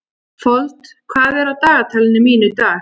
Fold, hvað er á dagatalinu mínu í dag?